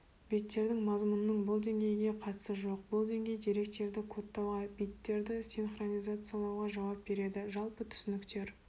биттердің мазмұнының бұл деңгейге қатысы жоқ бұл деңгей деректерді кодтауға биттерді синхронизациялауға жауап береді жалпы түсініктер